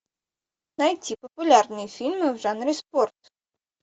найти популярные фильмы в жанре спорт